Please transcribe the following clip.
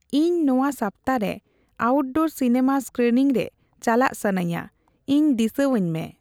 ᱤᱧ ᱱᱚᱣᱟ ᱥᱟᱯᱛᱟ ᱨᱮ ᱟᱣᱴᱰᱳᱨ ᱥᱤᱱᱟᱹᱢᱟ ᱤᱥᱠᱤᱱᱤᱝ ᱨᱮ ᱪᱟᱞᱟᱜ ᱥᱟᱹᱱᱟᱹᱧᱟᱹ ᱤᱧ ᱫᱤᱥᱟᱹᱣᱟᱹᱧ ᱢᱮ